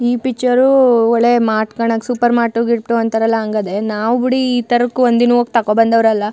ಈ ಪಿಕ್ಚರ್ ಉ ಒಳ್ಳೆ ಮಾರ್ಟ್ ಕಂಡಗೆ ಸೂಪರ್ ಮಾರ್ಟ್ ಗೀಟ್ ಅಂತಾರಲ್ಲ ಹಂಗದೆ ನಾವು ಬಿಡಿ ಈ ತರಕ್ ಒಂದಿನುವೆ ಹೋಗಿ ತಕೋಬಂದವರಲ್ಲ.